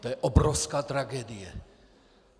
To je obrovská tragédie.